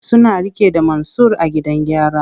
Suna rike da Mansur a gidan gyara.